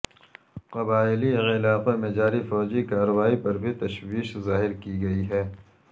قبائلی علاقوں میں جاری فوجی کارروائی پر بھی تشویش ظاہر کی گئی ہے